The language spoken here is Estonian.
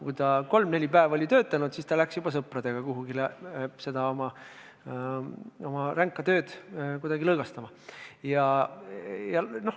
Kui ta oli kolm-neli päeva töötanud, läks ta juba sõpradega kusagile oma rängast tööst lõõgastuma.